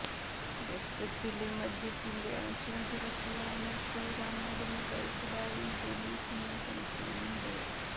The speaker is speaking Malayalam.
രക്തത്തില് മദ്യത്തിന്റെ അംശം കുറയ്ക്കുവാന് ശ്രീറാം മരുന്നു കഴിച്ചതായും പൊലീസിനു സംശയമുണ്ട്